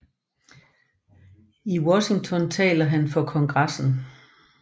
I Washington taler han for Kongressen